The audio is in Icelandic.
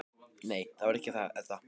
Nei, það var ekki það, Edda.